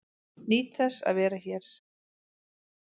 Nýt þess að vera hér